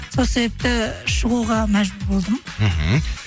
сол себепті шығуға мәжбүр болдым мхм